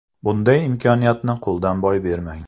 Bunday imkoniyatni qo‘ldan boy bermang!